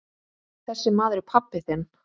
Þessi maður er pabbi þinn.